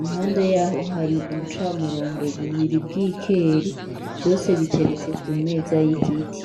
impande yaho hari ubucamurongo bubiri bw'ikeri vyose biteretse ku meza y'igiti.